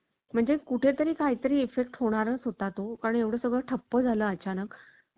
म्हणजे कुठे तरी काही तरी effect होणारच होता तो कारण एवढं सगळं ठप्प झालं अचानक.